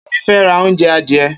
Kemi fè rà ounjẹ adiẹ